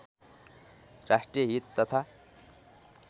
राष्ट्रिय हित तथा